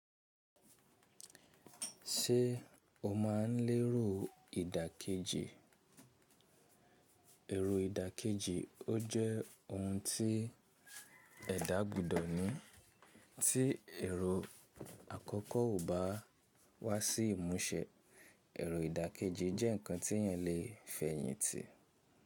Ṣé o máa ń lérò ìdàkejì? Èrò ìdàkejì ọ jẹ́ ohun tí ẹ dà gbọdọ̀ ní. Tí èrò àkọ́kọ́ ò bá wá sí ìmúṣẹ, èrò ìdàkejì jẹ́ ǹkan tí ẹyàn lè fẹ̀yìntì.